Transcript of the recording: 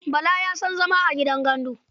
Bala ba ya son zama a gidan gandu.